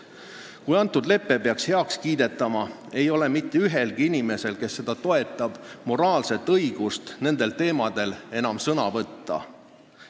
Kui see lepe peaks heaks kiidetama, ei ole mitte ühelgi inimesel, kes seda toetab, moraalset õigust nendel teemadel enam sõna võtta.